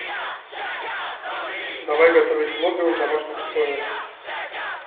давай готовить лобио в домашних условиях